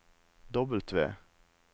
W